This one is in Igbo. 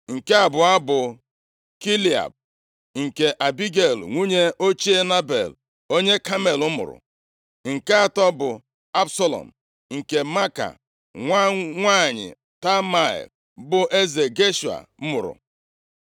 Nke abụọ bụ Kiliab, nke Abigel, nwunye ochie Nebal, onye Kamel mụrụ. Nke atọ bụ Absalọm, nke Maaka nwa nwanyị Talmai, bụ eze Geshua + 3:3 Geshua, bụ otu mpaghara nʼalaeze ndị Siria ebe Absalọm gbalagara maka ize ndu. \+xt Jos 13:13; 1Sa 27:8; 2Sa 13:37-38; 14:32; 15:8\+xt* mụrụ.